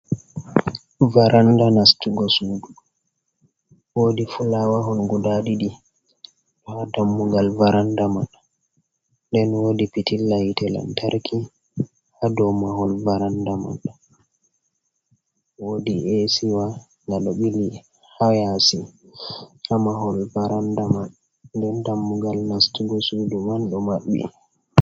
Varanda nastugo sudu woodi fulaawa hon guda ɗiɗi ha dammugal varanda man nden woodi pitilla hite lantarki ha dou mahol varanda man woodi esiwa nga ɗo ɓili ha yasi ha mahol varanda man nden dammugal nastugo sudu man ɗo maɓɓi.